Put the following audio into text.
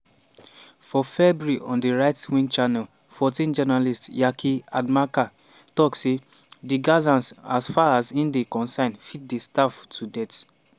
for february on di right-wing channel 14 journalist yaki adamker tok say: "di gazans as far as e dey concern fit dey starve to death.